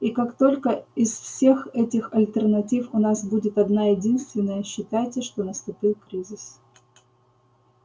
и как только из всех этих альтернатив у нас будет одна-единственная считайте что наступил кризис